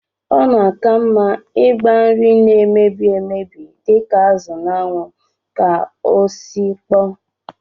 Ọ na-aka mma ịgba nri na-emebi emebi dịka azụ n'anwụ ka ọ sikpọọ